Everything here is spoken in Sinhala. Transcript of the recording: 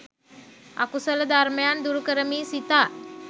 අකුසල ධර්මයන් දුරුකරමියි සිතා